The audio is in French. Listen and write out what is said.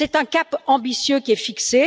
C'est un cap ambitieux qui est fixé.